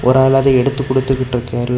ஒரு ஆள் அதே எடுத்து கொடுத்துட்டுருக்காரு.